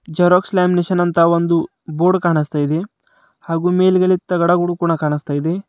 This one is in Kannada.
ಜೆರಾಕ್ಸ್ ಲಾಮಿನೇಷನ್ ಅಂತ ಒಂದು ಬೋರ್ಡ್ ಕಾಣುಸ್ತಾ ಇದೆ ಹಾಗೂ ಮೇಲ್ಗಡೆ ತಗಡಗಳು ಕೂಡ ಕಾಣುಸ್ತಾ ಇದೆ.